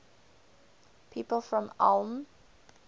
people from ulm